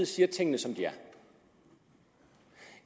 siger tingene som de er